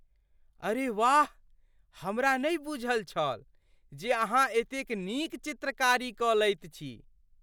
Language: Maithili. अरे वाह! हमरा नहि बूझल छल जे अहाँ एतेक नीक चित्रकारी कऽ लैत छी!